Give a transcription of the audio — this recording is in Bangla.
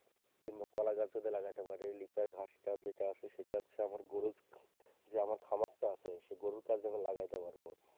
কিংবা কলা গাছ যদি লাগাইতে পারি লিপাই ঘাসটা যেটা আছে সেটা হচ্ছে আমার গরুর যে আমার খামারটা আছে সেই গরুর কাজে আমার লাগাইতে পারবো।